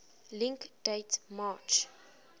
link date march